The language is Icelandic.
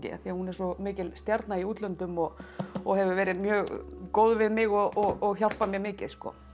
af því hún er svo mikil stjarna í útlöndum og og hefur verið mjög góð við mig og hjálpað mér mikið